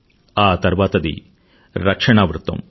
ఆ తర్వాతది రక్షణా వృత్తం